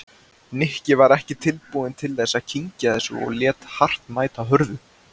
Nikki var ekki tilbúinn til þess að kyngja þessu og lét hart mæta hörðu.